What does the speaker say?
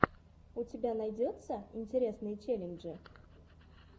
у тебя найдется интересные челленджи